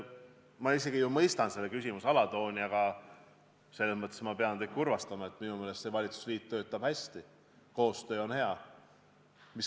Ma mõistan selle küsimuse alatooni, aga ma pean teid kurvastama, et minu meelest see valitsusliit töötab hästi, koostöö on hea.